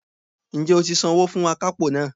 Ǹ jẹ́ o ti san owó fún akápò náà